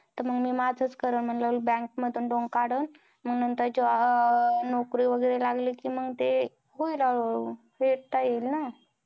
तं मी माझंच करलं म्हणलं. bank मधून loan काढलं, आणि मग नंतर जॉ अं नोकरी वगैरे लागली कि मग होईल हळूहळू. फेडता येईल ना.